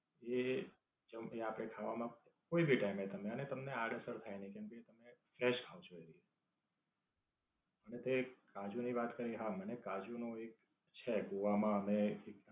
એ, ચમની આપે ખાવામાં કોઈ ભી ટાઈમે તમને ને તમને આડ-અસર થાય નઈ કેમકે તમે fresh ખાવ છો એવી. અને તે કાજુ ની વાત કરી હા મને કાજુ નું એક છે ગોવા માં અને એક